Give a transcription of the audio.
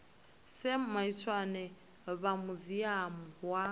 sam maitswane vha muziamu wa